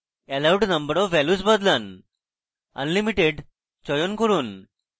allowed number of values বদলান unlimited চয়ন করুন